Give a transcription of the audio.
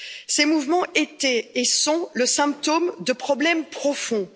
Ces mouvements étaient et sont le symptôme de problèmes profonds.